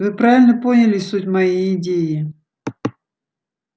вы правильно поняли суть моей идеи